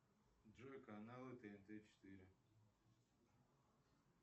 джой каналы тнт четыре